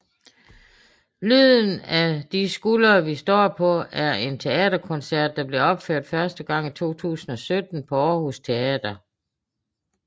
Lyden af de skuldre vi står på er en teaterkoncert der blev opført første gang i 2017 på Aarhus Teater